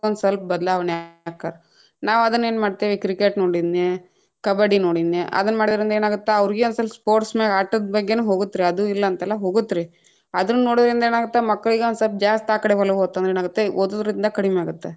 ಒಂದಸಲ್ಪ ಬದಲಾಣೆಯಾಕ್ಕಾರ, ನಾವ್‌ ಅದನ್ನ ಏನ್‌ ಮಾಡ್ತೇವಿ ಕ್ರೀಕೆಟ್‌ ನೋಡಿದ್ನ್ಯ, ಕಬಡ್ಡಿ ನೋಡಿದ್ನ್ಯಾ, ಅದನ್ನ ಮಾಡೋದ್ರಿಂದ ಏನಾಗತ್ತ ಅವ್ರೀಗು ಒಂದ ಸ್ವಲ್ಪ sports ಮ್ಯಾಗ ಆಟದ ಬಗ್ಗೆನು ಹೋಗುತ್ರೀ ಅದು ಇಲ್ಲಂತಲ್ಲಾ ಹೋಗುತ್ರೀ, ಅದನ್ನೊಡೊದ್ರಿಂದ್‌ ಏನಾಗುತ್ತೇ ಮಕ್ಕಳಿಗ್‌ ಒಂದ್‌ ಸ್ವಲ್ಪ ಜಾಸ್ತ್‌ ಆಕಡೆ ಒಲವ್‌ ಹೋತಂದ್ರ ಏನಾಗತ್ತ ಓದುದ್ರಿಂದ ಕಡಿಮ್ಯಾಗತ್ತ.